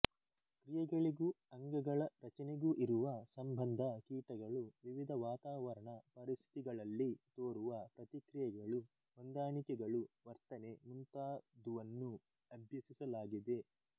ಕ್ರಿಯೆಗಳಿಗೂ ಅಂಗಗಳ ರಚನೆಗೂ ಇರವ ಸಂಬಂಧ ಕೀಟಗಳು ವಿವಿಧ ವಾತಾವರಣ ಪರಿಸ್ಥಿತಿಗಳಲ್ಲಿ ತೋರುವ ಪ್ರತಿಕ್ರಿಯೆಗಳು ಹೊಂದಾಣಿಕೆಗಳು ವರ್ತನೆ ಮುಂತಾದುವನ್ನು ಅಭ್ಯಸಿಸಲಾಗಿದೆ